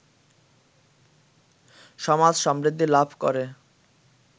সমাজ সমৃদ্ধি লাভ করে